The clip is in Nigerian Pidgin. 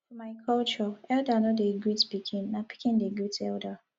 for my culture elda no dey greet pikin na pikin dey great elda